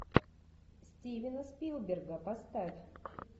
стивена спилберга поставь